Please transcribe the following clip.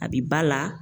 A bi ba la